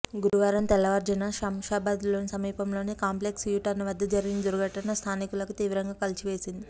గురువారం తెల్లవారుజామున శంషాబాద్కు సమీపంలోని సింపెక్స్ యూటర్న్ వద్ద జరిగిన దుర్ఘటన స్థానికులను తీవ్రంగా కలిచివేసింది